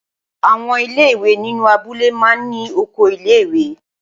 Àwọn ilé-ìwé inú abúlé máa ń ní oko ilé-ìwé.